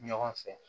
Ɲɔgɔn fɛ